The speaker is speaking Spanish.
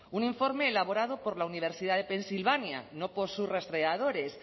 un informe elaborado por la universidad de pensilvania no por sus rastreadores